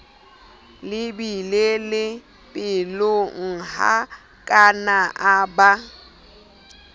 le beile pelonghakana a ba